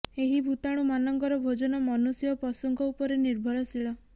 ଏହି ଭୂତାଣୁମାନଙ୍କର ଭୋଜନ ମନୁଷ୍ୟ ଓ ପଶୁଙ୍କ ଉପରେ ନିର୍ଭରଶୀଳ